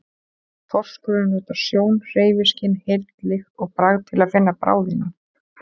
Þorskurinn notar sjón, hreyfiskyn, heyrn, lykt og bragð til að finna bráðina.